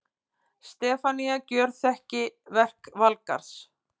Stefanía gjörþekki verk Valgarðs.